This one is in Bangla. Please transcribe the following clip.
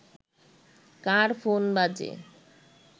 কার ফোন বাজে